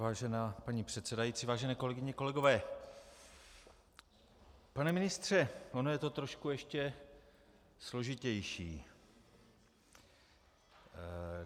Vážená paní předsedající, vážené kolegyně, kolegové, pane ministře, ono je to trošku ještě složitější.